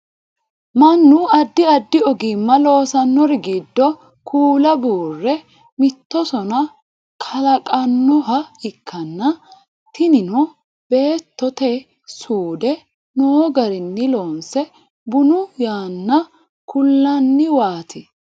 mannu addi addi ogimmanni loosannori giddo kuula buure mitto sona kalaqannoha ikkanna tinino beettote suude noo garinni loonse bunu yanna kullanniwaati